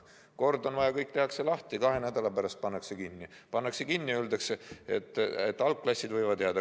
Kord on vaja, et kõik tehakse lahti, kahe nädala pärast pannakse kinni, aga öeldakse, et algklassid võivad jääda.